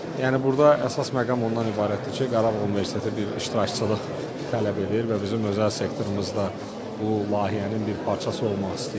Yəni burda əsas məqam ondan ibarətdir ki, Qarabağ Universiteti bir iştirakçılıq tələb edir və bizim özəl sektorunuzda bu layihənin bir parçası olmaq istəyir.